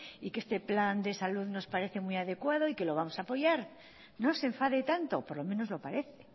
y que este plan de salud nos parece muy adecuado y que lo vamos a apoyar no se enfade tanto por lo menos lo parece